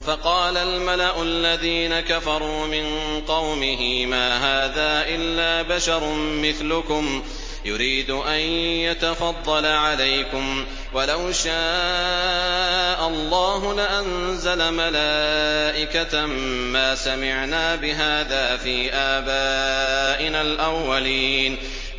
فَقَالَ الْمَلَأُ الَّذِينَ كَفَرُوا مِن قَوْمِهِ مَا هَٰذَا إِلَّا بَشَرٌ مِّثْلُكُمْ يُرِيدُ أَن يَتَفَضَّلَ عَلَيْكُمْ وَلَوْ شَاءَ اللَّهُ لَأَنزَلَ مَلَائِكَةً مَّا سَمِعْنَا بِهَٰذَا فِي آبَائِنَا الْأَوَّلِينَ